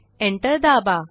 enter दाबा